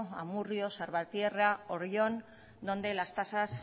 amurrio salvatierra oyón donde las tasas